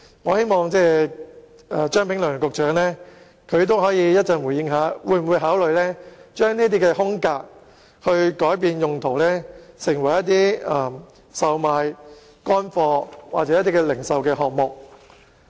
我希望張炳良局長稍後可以對此回應，會否考慮改變這些空間的用途，成為售賣乾貨或零售場所。